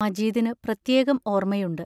മജീദിനു പ്രത്യേകം ഓർമയുണ്ട്.